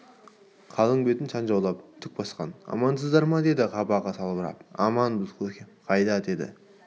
қалың бетін шанжаулап түк басқан амансыздар ма деді қабағы салбырап аманбыз көкем қайда деді